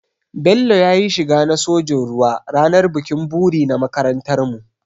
Bello ya yi shiga na sojin ruwa ranar bikin buri na makarantarmu.